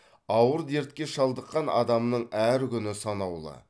ауыр дертке шалдыққан адамның әр күні санаулы